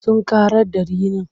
Sun ƙarar da rinin.